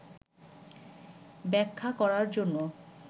ব্যাখ্যা করার জন্য